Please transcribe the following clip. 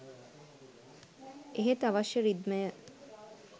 එහෙත් අවශ්‍ය රිද්මය